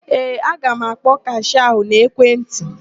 Ee, aga m akpọ kashịa ahụ n'ekwentị.